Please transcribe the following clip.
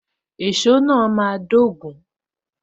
Èso náà máa dogun.